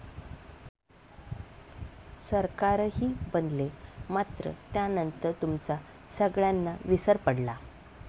सरकारही बनले, मात्र त्यानंतर तुमचा सगळ्यांना विसर पडला.